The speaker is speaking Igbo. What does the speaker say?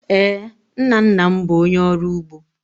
Ee, nna nna m bụ onye ọrụ ugbo.